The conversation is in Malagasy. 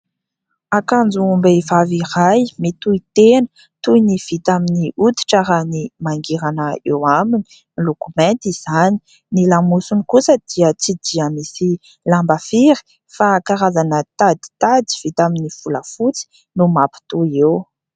Akanjom-behivavy iray mitohitena toy ny vita amin'ny hoditra raha ny mangirana eo aminy. Miloko mainty izany ny lamosiny kosa dia tsy dia misy lamba firy fa karazana taditady vita amin'ny volafotsy no mampitohy eo.